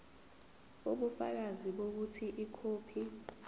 ubufakazi bokuthi ikhophi